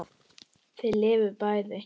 Þau lifðu bæði.